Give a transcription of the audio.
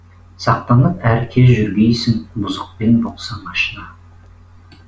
сақтанып әр кез жүргейсің бұзықпен болсаң ашына